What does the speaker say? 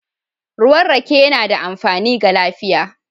Ruwan rake yana da amfani ga lafiya